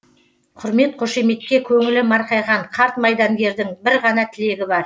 құрмет қошеметке көңілі марқайған қарт майдангердің бір ғана тілегі бар